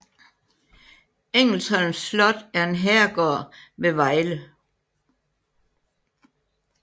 Engelsholm Slot er en herregård ved Vejle